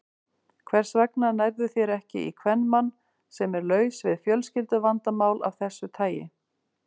Hvers vegna nærðu þér ekki í kvenmann, sem er laus við fjölskylduvandamál af þessu tagi?